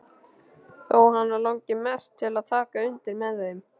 Þó hana langi mest til að taka undir með þeim.